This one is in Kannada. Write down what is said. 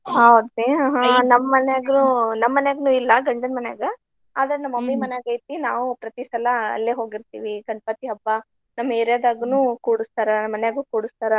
ಹೌದ್ರಿ ಮನ್ಯಾಗ ನಮ್ಮ್ ಮನ್ಯಾಗನು ಇಲ್ಲಾ ಗಂಡನ ಮನ್ಯಾಗ. ಆದ್ರ mummy ಮನ್ಯಾಗ ಐತಿ ನಾವು ಪ್ರತಿ ಸಲಾ ಅಲ್ಲೆ ಹೋಗಿರ್ತಿವಿ ಗಣಪತಿ ಹಬ್ಬಾ ನಮ್ಮ್ area ದಗುನೂ ಕೂಡಸ್ತಾರ ಮಾನ್ಯಾಗು ಕೂಡಸ್ತಾರ.